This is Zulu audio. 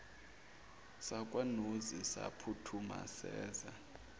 sakwanozi saphuthuma seza